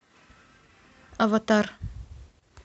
аватар